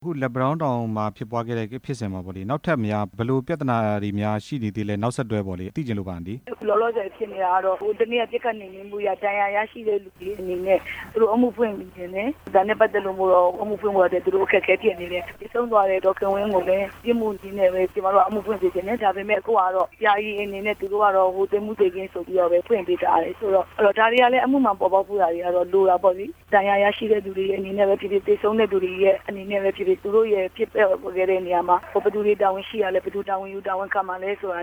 အခုလက်ပံတောင်းတောင်မှာ ဖြစ်ပွားခဲ့တဲ့ဖြစ်စဉ်မှာပေါ့လေ နောက်ထပ်များဘယ်လို ပြဿနာတွေများရှိနေသေးလဲ၊ နောက်ဆက်တွဲပေါ့လေ သိချင်လို့ပါအန်တီ။ လောလောဆယ်ဖြစ်နေတာကတော့ ဟိုတစ်နေ့ကပစ်ခတ်ရာက ဒဏ်ရာရရှိတဲ့လူအနေနဲ့ သူတို့အမှုဖွင့်ချင်တယ်၊ ဒါနဲ့ပတ်သက်လို့တော့ အမှုဖွင့်ဖို့အတွက်တော့ အခက်အခဲဖြစ်နေတယ်၊ သေဆုံးသွားတဲ့ ဒေါ်ခင်ဝင်းကိုပဲ ပြစ်မှုကြီးနဲ့ပဲ ကျမတို့ကအမှုဖွင့်စေချင်တယ်၊ ဒါပေမဲ့ အခုဟာကတော့ ယာယီအနေနဲ့ သူတို့ကတော့ သေမှုသေခင်းဆိုပြီးတော့ပဲ ဖွင့်ပေးထားတယ်၊ ဒါတွေဟာလည်း အမှုမှန်ပေါ်ပေါက်ဖို့တော့ လိုတာပေါ့လေ၊ ဒဏ်ရာရရှိတဲ့သူတွေအနေနဲ့ပဲဖြစ်ဖြစ်၊ သေဆုံတဲ့သူတွေအနေနဲ့ပဲဖြစ်ဖြစ် သူတို့ရဲ့ဖြစ်ပျက်ခဲ့တဲ့နေရာမှာ ဘယ်သူတွေတာဝန်ရှိတာလဲ၊ ဘယ်သူတွေ တာဝန်ယူတာဝန်ခံမှာလဲဆိုတာ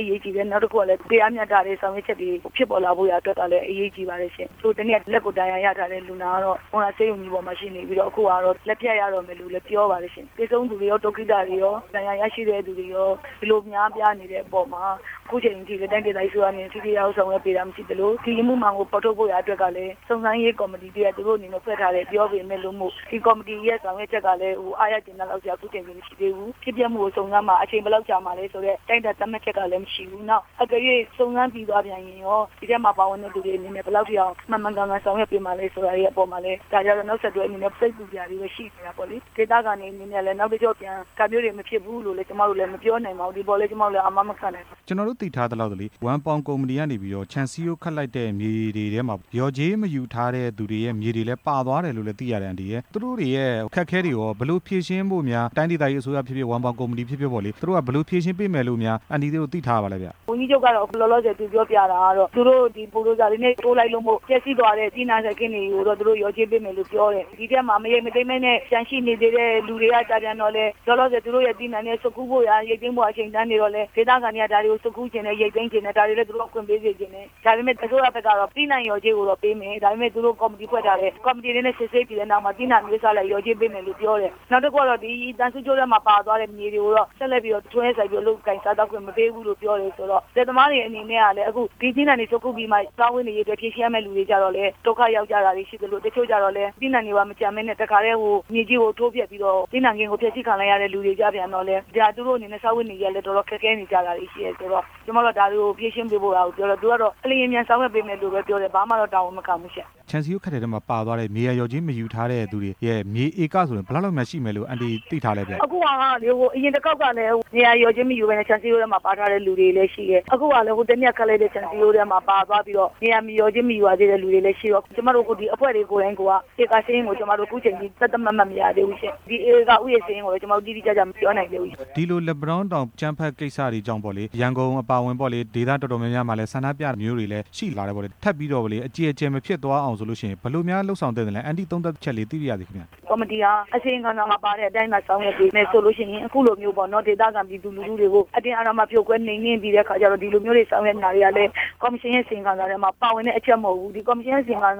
အရေးကြီးတယ်၊ နောက်တစ်ခုကလည်း တရားမျှတတဲ့ဆောင်ရွက်ချက်တွေ ဖြစ်ပေါ်လာဖို့ကလည်း အရေးကြီးပါတယ်ရှင့်၊ ဟိုတစ်နေ့က လက်ကိုဒဏ်ရာရထားတဲ့လူနာကတော့ မုံရွာဆေးရုံကြီးပေါ်မှာရှိနေပြီးတော့ အခုကတော့ လက်ဖြတ်ရတော့မယ်လို့လည်း ပြောပါတယ်၊ သေဆုံးသူတွေရော၊ ဒုက္ခိတတွေရော၊ ဒဏ်ရာရရှိတဲ့သူတွေရော အလွန်များပြားနေတဲ့အပေါ်မှာ အခုအချိန်အထိ တိုင်းဒေသကြီးအစိုးရအနေနဲ့ ပြေလည်အောင်ဆောင်ရွက်ပေးတာ မရှိသလို ဒီအမှုမှန်ကို ဖော်ထုတ်ဖို့ရာအတွက်ကလည်း စုံစမ်းရေးကော်မတီတစ်ရပ် သူတို့အနေနဲ့ထားတယ် ပြောပေမယ့်လို့မို့ ဒီကော်မတီရဲ့ဆောင်ရွက်ချက်ကလည်း အားရကျေနပ်လောက်စရာ အခုအချိန်ထိမရှိသေးဘူး၊ ဖြစ်ပျက်မှုကိုစုံစမ်းမှာ အချိန်ဘယ်လောက်ကြာမလဲဆိုတဲ့ တိုင်းတာသက်မှတ်ချက်ကလည်း မရှိဘူး၊ နောက်တကယ်လို့ စုံစမ်းပြီးသွားပြန်ရင်ရော ဒီအထဲမှာပါဝင်တဲ့သူတွေအနေနဲ့ ဘယ်လောက်ထိအောင် မှန်မှန်ကန်ကန်ဆောင်ရွက်ပေးမှာလဲ ဆိုတဲ့အပေါ်မှာလည်း ဒဏ်ရာရတဲ့သူတွေအနေနဲ့ စိတ်ပူနေတာတွေလည်းရှိတယ်ပေါ့လေ၊ ဒေသခံတွေအနေနဲ့လည်း နောက်တစ်ကြော့ပြန် ဒါမျိုးတွေမဖြစ်ဘူးလို့ ကျမတို့လည်း မပြောနိုင်ပါဘူး၊ ဒီအပေါ်လည်း ကျမတို့လည်း အာမမခံနိုင်ပါဘူး။ ကျနော်တို့ သိထားရသလောက်ပေါ့လေ ဝမ်ပေါင်ကုမ္ပဏီကနေပြီးတော့ ခြံစည်းရိုးခတ်လိုက်တဲ့မြေတွေထဲမှာ လျော်ကြေးမယူထားတဲ့သူတွေရဲ့မြေတွေလည်း ပါသွားတယ်လို့လည်း သိရတယ်အန်တီရယ်၊ သူတို့တွေရဲ့အခက်အခဲတွေရော ဘယ်လိုဖြေရှင်းဖို့များ တိုင်းဒေသကြီးအစိုးရဖြစ်ဖြစ်၊ ဝမ်ပေါင်ကုမ္ပဏီဖြစ်ဖြစ်ပေါ့လေ၊ သူတို့ကဘယ်လိုဖြေရှင်းပေးမယ်လို့များ အန်တီတို့သိထားရလဲဗျ။ ဝန်ကြီးချုပ်ကတော့ အခုလောလောဆယ် သူပြောပြတာကတော့ သူတို့ဒီဘိုဒူဇာတွေနဲ့ ထိုးလိုက်လို့မို့လို့ ပျက်စီးသွားတဲ့သီးနှံစိုက်ခင်းတွေကိုတော့ သူတို့လျော်ကြေးပေးမယ်လို့ပြောတယ်၊ ဒီအထဲမှာမရိတ်မသိမ်းပဲနဲ့ ကျန်ရှိနေသေးတဲ့လူတွေကျပြန်တော့လည်း လောလောဆယ်သူတို့ရဲ့ သီးနှံဆွတ်ခူးဖို့ရာ၊ ရိတ်သိမ်းဖို့ရာအချိန်တန်နေတော့လည်း ဒေသခံတွေကဒါတွေကို ဆွတ်ခူးချင်တယ်၊ ရိတ်သိမ်းချင်တယ်၊ ဒါတွေလည်း သူတို့ကိုခွင့်ပေးစေချင်တယ်၊ ဒါပေမယ့် သူတို့ဘက်ကကျတော့ သီးနှံလျော်ကြေားကိုတော့ပေးမယ် ဒါပေမဲ့ သူတို့ကော်မတီဖွဲ့ထားတယ်၊ ကော်မတီအနေနဲ့ စစ်ဆေးပြီးတဲ့နောက်မှာ သီးနံှအမျိုးအစားအလိုက် လျော်ကြးပေးမယ်လို့ပြောတယ်၊ နောက်တစ်ခုကတော့ သံဆူးကြိုးထဲမှာပါသွားတဲ့ မြေတွေကိုတော့ ဆက်လက်ပြီးတော့ လုပ်ကိုင်စားသောက်ခွင့် မပေးဘူးလို့ပြောတယ်ဆိုတော့ လယ်သမားတွေအနေနဲ့ကလည်း အခုဒီသီးနှံတွေဆွတ်ခူးပြီးမှ စားဝတ်နေရေးအတွက် ဖြေရှင်းရမယ့်လူတွေကျလည်း ဒုက္ခရောက်ကြသူတွေရှိသလို တစ်ချို့ကျတော့လည်း သီးနှံတွေပါမကျန်ပဲ တစ်ခါတည်းမြေကြီးကို ထိုးဖျက်ပြီးတော့ သီးနှံခင်ကိုဖျက်ဆီးခံလိုက်ရတဲ့ လူတွေကျပြန်တော့လည်း သူတို့အနေနဲ့စားဝတ်နေရေး ခက်ခဲနေကြတာတွေရှိတယ်ဆိုတော့ ကျမတို့က ဒါတွေကိုဖြေရှင်းပေးဖို့ရာပြောတော့ သူကတော့အလျင်အမြန် ဆောင်ရွက်ပေးမယ်လို့ပဲပြောတယ် ဘာမှတော့တာဝန်မခံဘူးရှင့်။ ခြံစည်းရိုးခတ်တဲ့အထဲမှာပါသွားတဲ့ မြေယာလျော်ကြးမယူထားတဲ့သူတွေရဲ့ မြေဧကဆိုရင် ဘယ်လောက်လောက်များရှိမယ်လို့ အန်တီ သိထားလဲဗျ။ အခုဟာကလေ အရင်တစ်ခေါက်ကလည်း မြေယာလျော်ကြေးမယူပဲနဲ့ ခြံစည်းရိုးထဲမှာပါထားတဲ့ သူတွေလည်းရှိတယ်၊ အခုဟာက ဟိုတစ်နေ့ကခတ်လိုက်တဲ့ ခြံစည်းရိုးထဲမှာပါသွားပြီးတော့ မြေယာလျော်ကြေးမယူထားတဲ့ လူတွေလည်းရှိတော့ ကျမတို့အဖွဲ့တွေကိုယ်တိုင်ကိုက ဧကစာရင်းကိုအခုအချိန်အထိ သက်သက်မှတ်မှတ်မရသေးဘူးရှင့်၊ ဒီဧကဦးရေစာရင်းကို ကျမတို့တိတိကျကျ မပြောနိုင်သေးဘူးရှင့်။ ဒီလိုလက်ပံတောင်းတောင် အကြမ်းဖက်ကိစ္စတွေကြောင့်ပေါ့လေ ရန်ကုန်အပါအဝင်ပေါ့လေ ဒေသတော်တော်များများမှာလည်း ဆန္ဒပြတာမျိုးတွေလည်း ရှိလာတယ်ပေါ့၊ ထပ်ပြီးတော့ပေါ့လေ အကျယ်အကျယ်မဖြစ်သွားအောင်ဆိုလို့ရှိရင် ဘယ်လိုများလုပ်ဆောင်သင့်သလဲ၊ အန်တီ သုံသပ်ချက်လေးသိပါရစေ ခင်ဗျ။ ကော်မရှင်ဟာ အစီရင်ခံစာမှာပါတဲ့အတိုင်းသာ ဆောင်ရွက်ပေးမယ်ဆိုလို့ရှိရင် အခုလိုမျိုးပေါ့နော် ဒေသခံပြည်သူလူထုတွေကို အတင်းအဓမ္မဖြိုခွဲ နှိမ်နှင်းပြီးတဲ့အခါကျတော့ ဒီလိုမျိုးတွေ ဆောင်ရွက်နေတာဟာလည်း ကော်မရှင်ရဲ့အစီအစဉ်ထဲမှာ ပါဝင်တဲ့အချက်မဟုတ်ဘူး၊ ကော်မရှင်ထဲမှာ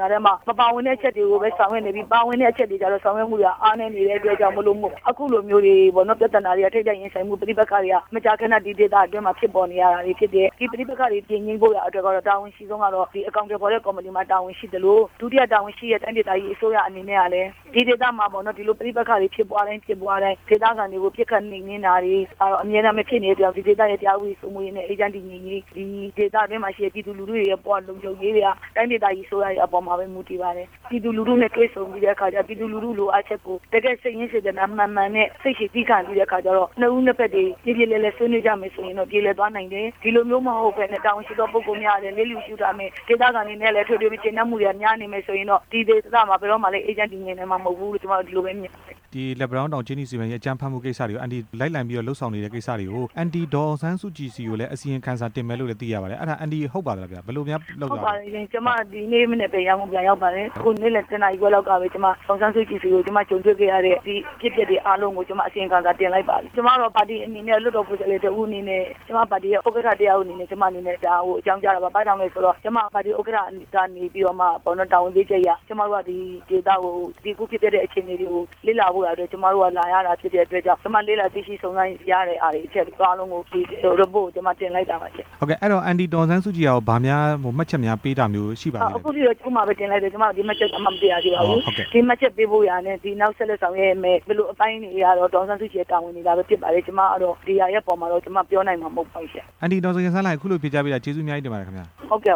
မပါဝင်တဲ့အချက်တွေကို ဆောင်ရွက်နေပြီး ပါဝင်တဲ့အချက်တွေကျတော့ ဆောင်ရွက်မှုတွေကအားနည်းနေတဲ့ အတွက်ကြောင့်မို့လို့ အခုလိုမျိုးတွေပေါ့နော် ပြဿနာတွေက ထိပ်တိုက်ရင်ဆိုင်မှု ပဋိပက္ခတွေကမကြာခဏ ဒီဒေသအတွင်းမှာဖြစ်ပေါ်နေတယ်၊ ဒီပဋိပက္ခတွေပြေငြိမ်းဖို့ တာဝန်အရှိဆုံးက အကောင်အထည်ဖော်တဲ့ ကော်မတီမှာ တာဝန်ရှိသလို ဒုတိယတာဝန်ရှိတဲ့ တိုင်းဒေသကြီးအစိုးရအနေနဲ့လည်း ဒီကိစ္စမှာပေါ့နော် ဒီကိစ္စတွေဖြစ်ပွားတိုင်း ဒေသခံတွေကို ပစ်ခတ်နှိမ်နှင်းတာတွေ အမြဲတမ်းပဲဖြစ်နေတော့ ဒီဒေသရဲ့တရားဥပဒေစိုမိုးရေးနဲ့ အေးချမ်းတည်ငြိမ်ရေး ဒေသတွင်းမှာရှိတဲ့ ပြည်သူလူထုတွေဘဝ လုံခြုံမတွေက တိုင်းဒေသကြီး အစိုးရအပေါ်မှာပဲ မူတည်ပါတယ်၊ ပြည်သူလူထုနဲ့တွေ့ဆုံပြီးတဲ့အခါ ပြည်သူလူထုလိုအပ်ချက်ကို တကယ့်စိတ်ရင်းစေတနာမှန်မှန်နဲ့ စိတ်ရှည်သည်းခံပြီးတော့အခါကျတော့ နှစ်ဦးနှစ်ဘက်ပြေပြေလည်လည် ဆွေးနွေးကြမယ်ဆိုရင်တော့ ပြေလည်သွားနိုင်တယ်၊ ဒီလိုမျိုးမဟုတ်ပဲနဲ့ တာဝန်ရှိတဲ့ပုဂ္ဂိုလ်များကလည်း လျစ်လျူရှု့ထားမယ်၊ ဒေသခံတွေနဲ့လည်းမတွေ့ပဲ မကျေနပ်မှုတွေကလည်း များနေမယ်ဆိုရင်တော့ ဒီဒေသမှာ ဘယ်တော့မှလည်း အေးချမ်းတည်ငြိမ်နိုင်မှာ မဟုတ်ဘူးလို့ ကျမတော့ ဒီလိုပဲမြင်တယ်။ လက်ပံတောင်းတောင် ကြေးနီစီမံကိန်း အကြမ်းဖက်မှုတွေကို အန်တီ လိုက်လံလုပ်ဆောင်နေတဲ့ကိစ္စတွေကို အန်တီ ဒေါ်အောင်ဆန်းစုကြည် ဆီကိုလည်း အစီရင်ခံစာတင်မယ်လို့လည်း သိရပါတယ်၊ အဲ့ဒါ အန်တီ ဟုတ်ပါသလားခင်ဗျ။ ဟုတ်ပါတယ်ရှင်။ ကျမနေ့မနက်ပဲ ရန်ကုန်ကိုပြန်ရောက်ပါတယ်၊ အခုနေ့လည် တစ်နာရီခွဲလောက်ကပဲ ဒေါ်အောင်ဆန်းစုကြည်ဆီကို ကျမ ကြုံတွေ့ခဲ့ရတဲ့ ဒီအဖြစ်အပျက်တွေအားလုံးကို ကျမ အစီရင်ခံစာတင်လိုက်ပါပြီ၊ ကျမတို့ပါတီအနေနဲ့ လွှတ်တော်ကိုယ်စားလှယ်တစ်ဦးအနေနဲ့ ကျမပါတီရဲ့ ဥက္ကဌတစ်ယောက်အနေနဲ့ ကျမ ဒါကိုအကြောင်းကြားတာပါ ဘာကြောင့်လဲဆိုတော့ ကျမ ပါတီဥက္ကဌကနေပြီးတော့မှပေါ့နော် တာဝန်ပေးချက်အရ ကျမတို့က ဒီဒေသကိုဒီအခုဖြစ်ခဲ့တဲ့ အခြေအနေတွေကို လေ့လာဖို့ရာအတွက် ကျမတို့ကလာရတာဖြစ်တဲ့အတွက်ကြောင့် ကျမ လေ့လာသိရှိစုံစမ်းရတဲ့ဟာတွေ အချက်တွေအားလုံးကို ဒီအစီရင်ခံစာကို ကျမတင်လိုက်တာပါရှင့်။ ဟုတ်ကဲ့ အဲ့ဒီတော့ အန်တီ ဒေါ်အောင်ဆန်းစုကြည်ကရော ဘာများမှတ်ချက်များ ပေးတာမျိုးရှိပါသလဲ။ အခုထိတော့ ရုံးမှာပဲတင်လိုက်တယ်၊ ကျမဒီနေ့ဘာမှ မသိရသေးပါဘူး၊ မှတ်ချက်ပေးဖို့ရန်နဲ့ နောက်ဆက်လက်ဆောင်ရွက်ဖို့ရန် ဘယ်လိုအပိုင်းတွေကတော့ ဒေါ်အောင်ဆန်းစုကြည်ရဲ့ တာဝန်တွေသာပဲဖြစ်ပါတယ်၊ ကျမ ဒီဟာရဲ့အပေါ်မှာတော့ ကျမပြောနိုင်မှာမဟုတ်ပါဘူးရှင့်။ အန်တီ ဒေါ်ခင်စန်းလှိုင် ခုလိုဖြေကြားပေးတာ ကျေးဇူးအများကြီးတင်ပါတယ်ခင်ဗျ။ ဟုတ်ကဲ့